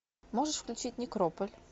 можешь включить некрополь